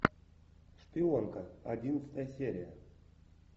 шпионка одиннадцатая серия